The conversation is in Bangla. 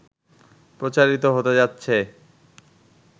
প্রচারিত হতে যাচ্ছে